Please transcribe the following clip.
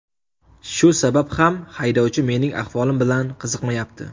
Shu sabab ham haydovchi mening ahvolim bilan qiziqmayapti.